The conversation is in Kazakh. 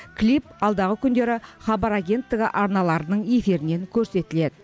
клип алдағы күндері хабар агенттігі арналарының эфирінен көрсетіледі